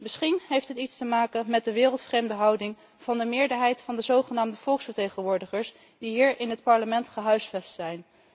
Misschien heeft het iets te maken met de wereldvreemde houding van de meerderheid van de zogenaamde volksvertegenwoordigers die hier in het Parlement gehuisvest zijn.